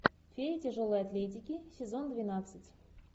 фея тяжелой атлетики сезон двенадцать